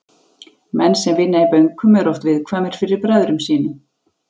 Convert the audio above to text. Menn sem vinna í bönkum eru oft viðkvæmir fyrir bræðrum sínum.